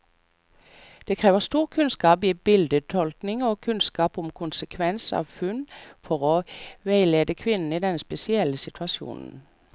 Det krever stor kunnskap i bildetolkning og kunnskap om konsekvens av funn, for å veilede kvinnen i denne spesielle situasjonen.